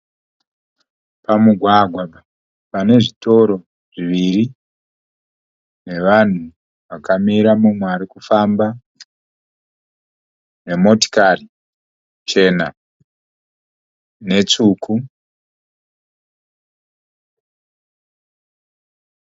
Pamugwagwa pane zvitoro zviviri nevanhu vakamira, mumwe ari kufamba nemotikari chena netsvuku.